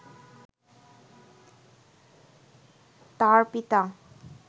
তাঁর পিতা